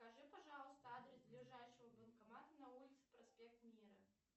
скажи пожалуйста адрес ближайшего банкомата на улице проспект мира